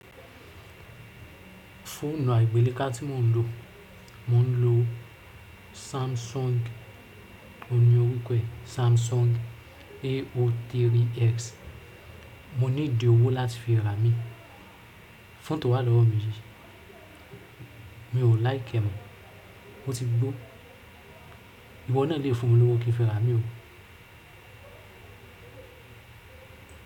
Fóònù àgbeleka tí mò ń lò, mò ń lò Samsung, òun ni orúkọ rẹ Samsung A03x. Mo nídí òwò láti fi ra mí, foonu tó wà lọ́wọ́ mi yi, mi ò like ẹ́ mọ́, ó ti gbó. Ìwọ náà lè fún mi ní owó kí n fi ra à mí ó.